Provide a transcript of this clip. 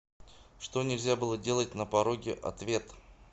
что нельзя было делать на пороге ответ